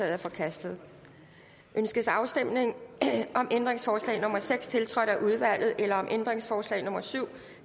er forkastet ønskes afstemning om ændringsforslag nummer seks tiltrådt af udvalget eller om ændringsforslag nummer syv